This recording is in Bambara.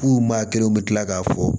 F'u maa kelenw u bɛ tila k'a fɔ